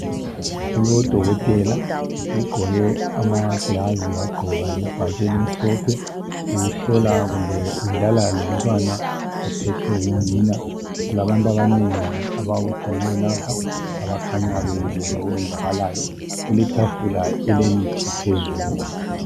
Kulodokotela, ugqoke amagilovisi wagqoka lebhatshi elimhlophe. Uhlola kumbe udlala lomntwana ophethwe ngunina .Kulabantu abanengi ababutheneyo lapha okukhanya bebukele okwenzakalayo. Kuletafula elemithi phezulu.